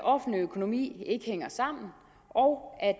offentlige økonomi ikke hænger sammen og